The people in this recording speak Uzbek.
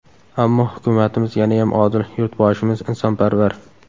Ammo, hukumatimiz yanayam odil, yurtboshimiz insonparvar.